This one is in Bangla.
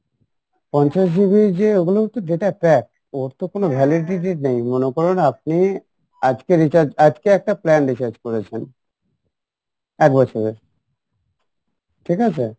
পঞ্চাশ GB ইর যে ওগুলো তো data pack ওর তো কোনো validity নেই মনে করুণ আপনি আজকে recharge আজকে একটা plan recharge করেছেন এক বছরের ঠিক আছে?